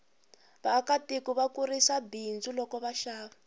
vaaka tiko va kurisa bindzu loko va xava